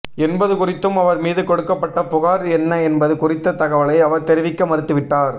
என்பது குறித்தும் அவர் மீது கொடுக்கப்பட்ட புகார் என்ன என்பது குறித்த தகவலை அவர் தெரிவிக்க மறுத்துவிட்டார்